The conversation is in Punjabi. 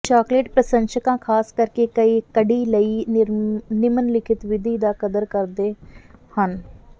ਚਾਕਲੇਟ ਪ੍ਰਸ਼ੰਸਕਾਂ ਖਾਸ ਕਰਕੇ ਕਡੀ ਲਈ ਨਿਮਨਲਿਖਤ ਵਿਧੀ ਦੀ ਕਦਰ ਕਰਦੇ ਹਨ